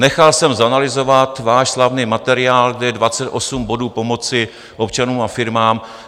Nechal jsme zanalyzovat váš slavný materiál, kde je 28 bodů pomoci občanům a firmám.